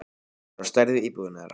Það er á stærð við íbúðina þeirra.